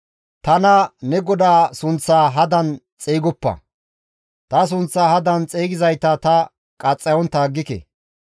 « ‹Tana ne GODAA sunththaa hadan xeygoppa; ta sunththaa hadan xeygizayta ta qaxxayontta aggike.